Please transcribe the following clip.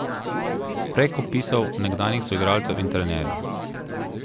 Prek opisov nekdanjih soigralcev in trenerjev.